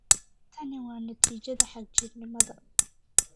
"Tani waa natiijada xagjirnimada."